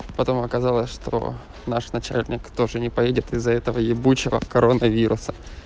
потом оказалось что наш начальник тоже не поедет из-за этого ебучего коронавируса